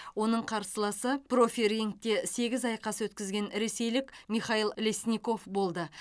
оның қарсыласы профирингте сегіз айқас өткізген ресейлік михаил лесников болды